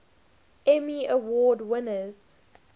emmy award winners